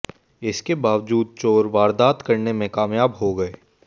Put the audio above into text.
इसके बावजूद चोर वारदात करने में कामयाब हो गए